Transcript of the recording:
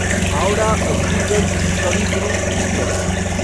Howrah Azimganj Kavi Guru express